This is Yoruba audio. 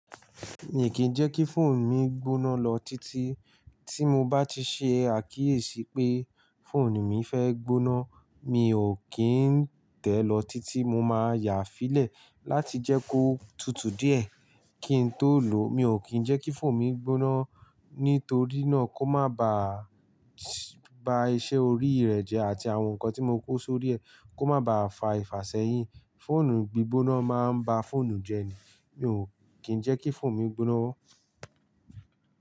Miì kín ń jẹ́ kí fóònù mi gbóná lọ títí. Tí mo bá ti ṣe àkíyèsí pé fóònù mi fẹ́ gbóná, mi ò kín ń tẹ̀ lọ títí mo máa yàá fí lẹ̀ láti jẹ́ kó tutù díẹ̀ kí n tó lò ó. Mi ò kín ń jẹ́ kí fóònù mi gbóná, nítorí náà kó má ba à bá iṣẹ́ orí rẹ̀ jẹ́ àti àwọn nǹkan tí mo kó sórí é kó má ba à fà ìfàsẹ́yìn. Fóònù gbí gbóná máa ń bá fóònù jẹ́ ni. Mi ò kín ń jẹ́ kí fóònù mi gbóná.